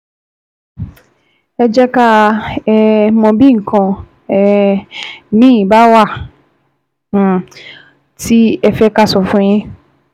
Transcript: Ẹ jẹ́ ká um mọ bí bí nǹkan um míì bá um wà tí ẹ fẹ́ ká sọ fún yín